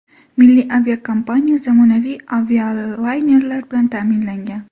Milliy aviakompaniya zamonaviy avialaynerlar bilan ta’minlangan.